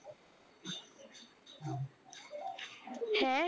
ਹੈਂ